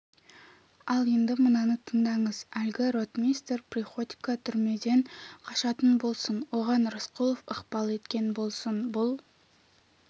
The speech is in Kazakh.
ал енді мынаны тыңдаңыз әлгі ротмистр приходько түрмеден қашатын болсын оған рысқұлов ықпал еткен болсын бұл